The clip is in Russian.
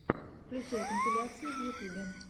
включай компиляции в ютубе